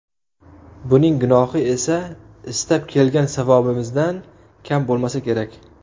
Buning gunohi esa istab kelgan savobimizdan kam bo‘lmasa kerak”.